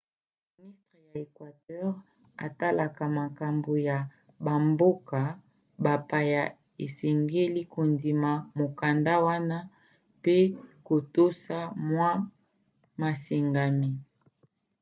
ministre ya equateur atalaka makambo ya bamboka bapaya asengeli kondima mokanda wana pe kotosa mwa masengami